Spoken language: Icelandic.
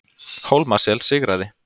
Hólmasel sigraði